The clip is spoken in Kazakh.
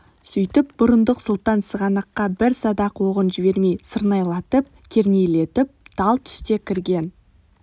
сөйтіп бұрындық сұлтан сығанаққа бір садақ оғын жібермей сырнайлатып-кернейлетіп тал түсте кірген